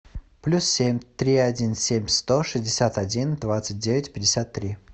плюс семь три один семь сто шестьдесят один двадцать девять пятьдесят три